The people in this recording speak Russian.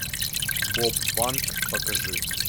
боб фанк покажи